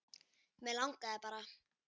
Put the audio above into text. Mig langaði bara.